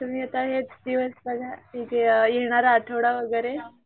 तुम्ही आता हेच दिवस बघा येणार आठवडा वगैरे .